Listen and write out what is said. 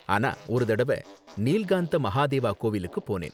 ஆனா ஒரு தடவ நீல்காந்த மகாதேவா கோவிலுக்கு போனேன்